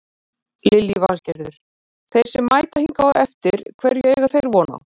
Lillý Valgerður: Þeir sem mæta hingað á eftir hverju eiga þeir von á?